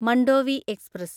Mandovi express